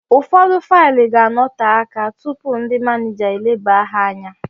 Ụfọdụ faịlụ ga anote aka tụpụ ndị manija eleba ha anya